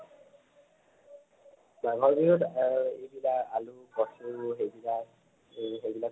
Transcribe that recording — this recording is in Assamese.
মাগৰ বিহুত এহ এইবিলাক আলু কচু সেইবিলাক এই সেইবিলাক খোৱা হয়